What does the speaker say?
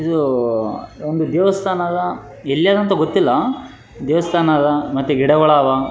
ಇದು ಒಂದು ದೇವಸ್ಥಾನದ ಎಲ್ಲಿ ಅದ ಅಂತ ಗೊತ್ತಿಲ್ಲ ದೇವಸ್ಥಾನದ ಮತ್ತ ಗಿಡಗಳಾವ .